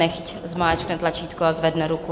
Nechť zmáčkne tlačítko a zvedne ruku.